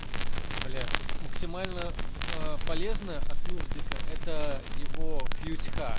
блять тут максимально э полезная от нуждика это его пьютьха